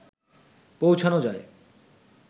পৌঁছানো যায়